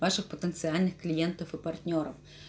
ваших потенциальных клиентов и партнёров